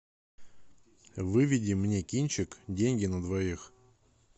выведи мне кинчик деньги на двоих